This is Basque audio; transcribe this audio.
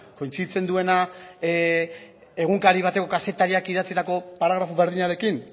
kointziditzen duena egunkari bateko kazetariak idatzitako paragrafo berdinarekin